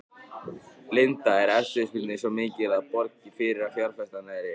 Linda: Er eftirspurnin svo mikil að það borgi sig að fjárfesta?